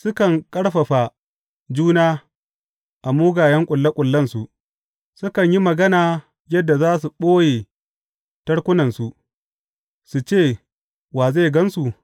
Sukan ƙarfafa juna a mugayen ƙulle ƙullensu, sukan yi magana yadda za su ɓoye tarkunansu; su ce, Wa zai gan su?